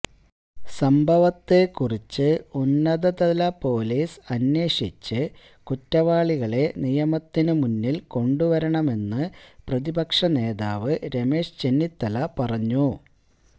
സംഭവത്തെക്കുറിച്ച് ഉന്നതതല പോലീസ് അന്വേഷിച്ച് കുറ്റവാളികളെ നിയമത്തിനു മുന്നിൽ കൊണ്ടുവരണമെന്ന് പ്രതിപക്ഷനേതാവ് രമേശ് ചെന്നിത്തല പറഞ്ഞു